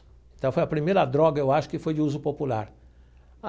Então, foi a primeira droga, eu acho, que foi de uso popular.